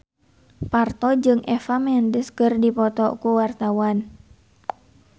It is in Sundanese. Parto jeung Eva Mendes keur dipoto ku wartawan